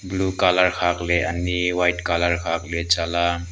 blue colour khakle ani white colour khakle cha la--